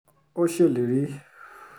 ó ṣèlérí